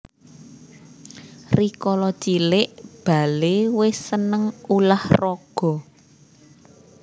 Rikala cilik Bale wis seneng ulah raga